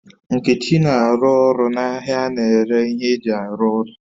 Nkechi na aru oru na ahia a na-ere ihe eji aru ulo